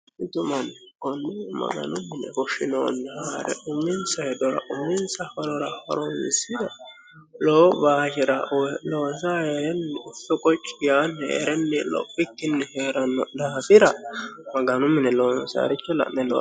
Mitu manni kunni maganu mine foshshinoonni haare uminsa hedora uminsa horora horonisira lowo baashera loosa heerenni ufi qoci yaanni heerenni lophikkinni heeranno daafira maganu mine loonsaaricho la'ne looniso